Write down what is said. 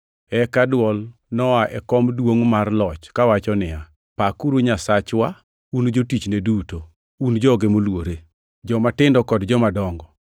Eka dwol noa e kom duongʼ mar loch, kawacho niya, “Pakuru Nyasachwa, un jotichne duto, un joge moluore, jomatindo kod jomadongo!”